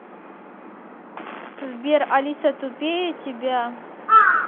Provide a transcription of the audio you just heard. сбер алиса тупее тебя